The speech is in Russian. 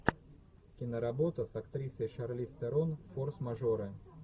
киноработа с актрисой шарлиз терон форс мажоры